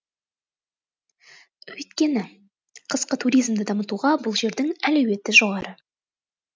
өйткені қысқы туризмді дамытуға бұл жердің әлеуеті жоғары